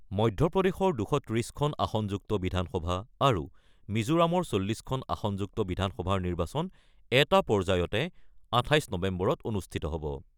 মধ্যপ্ৰদেশৰ ২৩০ খন আসনযুক্ত বিধানসভা আৰু মিজোৰামৰ ৪০ খন আসনযুক্ত বিধানসভাৰ নিৰ্বাচন এটা পৰ্যায়তে ২৮ নৱেম্বৰত অনুষ্ঠিত হ'ব।